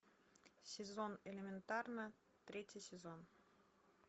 сезон элементарно третий сезон